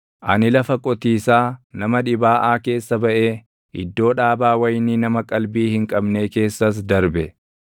Ani lafa qotiisaa nama dhibaaʼaa keessa baʼee, iddoo dhaabaa wayinii nama qalbii hin qabnee keessas darbe;